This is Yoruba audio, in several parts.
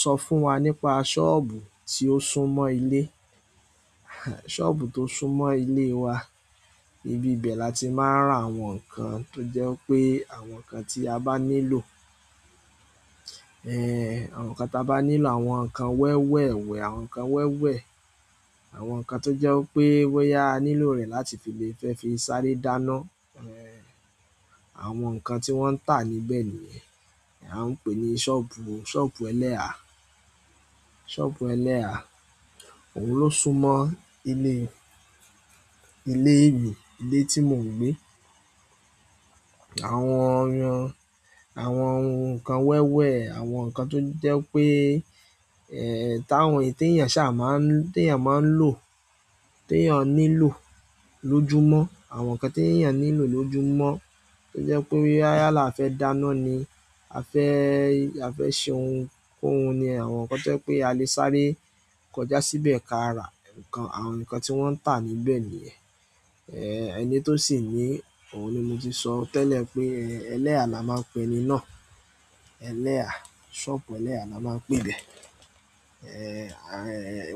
Sọ fún wa nípa sọ́ọ̀bù tí ó sún mọ́ ilé. Sọ́ọ̀bù tó sún mọ́ ilé wa, ibi bẹ́ẹ̀ la ti máa ń rà àwọn ǹkan tó jẹ́ pé àwọn ǹkan tí a bá nílò, ẹ́ àwọn ǹkan ta bá nílò àwọn ǹkan wẹ́wẹ́ wẹ̀, àwọn ǹkan wẹ́wẹ́, àwọn ǹkan tó jẹ́ pé boya a nílò rẹ̀ láti fi lè fẹ́ fi sáré dáná, ẹ́ àwọn ǹkan tí wọ́n ń tà níbẹ̀ nìyẹn. A ń pè ní sọ́ọ̀bù, sọ́ọ̀bù Ẹlẹ́ha, sọ́ọ̀bù Ẹlẹ́ha òun ló sún mọ́ ilé, ilé mi, ilé tí mò ń gbé. Àwọn, àwọn ǹkan wẹ́wẹ́, àwọn ǹkan tó jẹ́ pé ẹ́ táwọn èyí tèyàn ṣá máa ń, tí teyàn máa ń lò, teyàn nílò lójúmọ́, àwọn ǹkan teyàn nílò lójúmọ́ tó jẹ́ pé wíá là fẹ́ dáná ni, a fẹ́, a fẹ́ ṣe ohun kó hun ni àwọn ǹkan tó jẹ́ pé a lè sáré kọjá síbẹ̀ ka rà ǹkan, àwọn ǹkan tí wọ́n ń tà níbẹ̀ nìyẹn. Ehn ẹni to si ni, ohun ni mo ti so tele, eleha ni ẹni náà Ẹlẹ́ha, sọ́ọ̀bù Ẹlẹ́ha la máa ń pè é bẹ. Ẹ́ à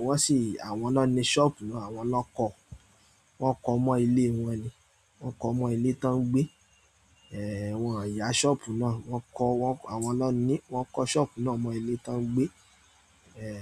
wọ́n sì àwọn ná ni sọ́ọ̀bù náà, àwọn lọ kọ, wọ́n kọ mọ́ ilé wọn ni, wọ́n kọ mọ́ ilé tán ń gbé. Ẹ̀ wọ́n o yà sọ́ọ̀bù náà, wọ́n kọ wọ́n àwọn ná ní wọ́n kọ sọ́ọ̀bù náà mọ́ ilé tá ń gbé. Ẹ̀